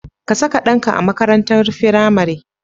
Ka saka ɗanka a makaranatar firamare.